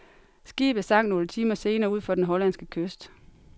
Skibet sank nogle timer senere ud for den hollandske kyst.